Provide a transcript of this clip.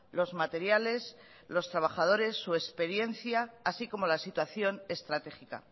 los materiales los trabajadores su experiencia así como la situación estratégica